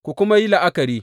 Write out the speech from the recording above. Ku kuma yi la’akari!